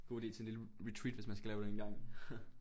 God ide til en lille retreat hvis man skal lave det engang